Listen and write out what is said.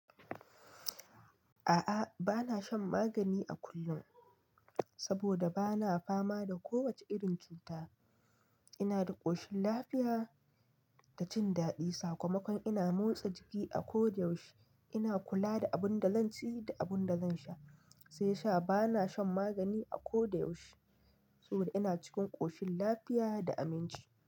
A'a, ba na shan magani a kullum saboda ba na fama da kowace irin cuta. Ina da ƙoshin lafiya da jin daɗi. Sakamakon ina motsa jiki a koda yaushe, ina kula da abin da zan ci da abin da zan sha. Sai sa, bana shan magani a koda yaushe saboda ina cikin ƙoshin lafiya da aminci.